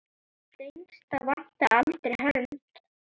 Dengsa vantaði aldrei hönd.